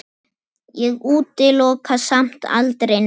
Ég útiloka samt aldrei neitt.